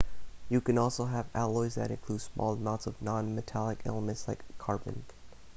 you can also have alloys that include small amounts of non-metallic elements like carbon